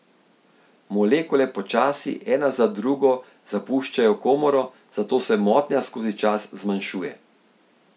Molekule počasi, ena za drugo, zapuščajo komoro, zato se motnja skozi čas zmanjšuje.